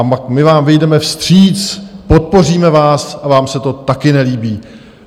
A my vám vyjdeme vstříc, podpoříme vás, a vám se to také nelíbí.